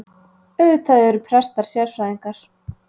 Auðvitað eru prestar sérfræðingar